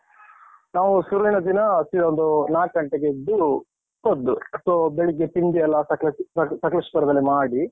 ನಾವು ಶುರುವಿನ ದಿನ see ಒಂದು ನಾಕ್ ಗಂಟೆಗೆ ಎದ್ದು, ಹೋದ್ದು. so , ಬೆಳಿಗ್ಗೆ ತಿಂಡಿಯೆಲ್ಲ ಸಕಲೇಶ್ ಸಕ್~ ಸಕಲೇಶ್ಪುರದಲ್ಲಿ ಮಾಡಿ.